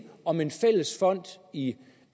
om en fælles fond i